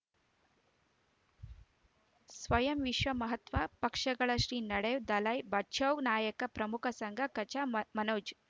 ಸ್ವಯಂ ವಿಶ್ವ ಮಹಾತ್ಮ ಪಕ್ಷಗಳ ಶ್ರೀ ನಡೆಯೂ ದಲೈ ಬಚೌ ನಾಯಕ ಪ್ರಮುಖ ಸಂಘ ಕಚ ಮನೋಜ್